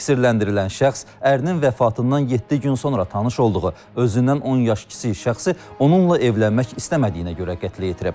Təqsirləndirilən şəxs ərinin vəfatından yeddi gün sonra tanış olduğu özündən 10 yaş kiçik şəxsi onunla evlənmək istəmədiyinə görə qətlə yetirib.